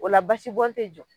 O la basibɔn te jɔ.